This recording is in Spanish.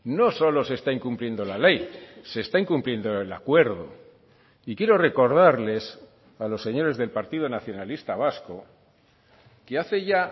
no solo se está incumpliendo la ley se está incumpliendo el acuerdo y quiero recordarles a los señores del partido nacionalista vasco que hace ya